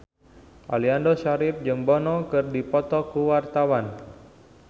Aliando Syarif jeung Bono keur dipoto ku wartawan